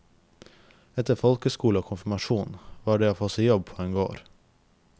Etter folkeskole og konfirmasjon var det å få seg jobb på en gård.